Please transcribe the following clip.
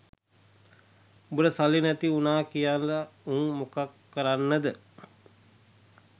උබට සල්ලි නැති උනා කියල උන් මොකක් කරන්නද?